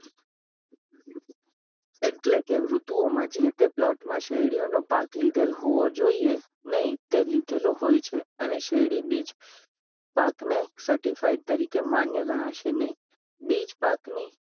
એટલેકે ઋતુઓમાં જે તે plot માં શેરડીઓનો પાક લીધેલ હોવો જોઈએ નહિ. તે લીધેલ હોય છે અને તે શેરડી બીજ પાકને certifide તરીકે માન્ય ગણાશે નહિ. બીજ પાકની